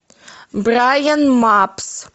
брайан мапс